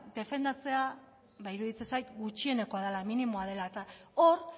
defendatzea ba iruditzen zait gutxienekoa dela minimoa dela eta hor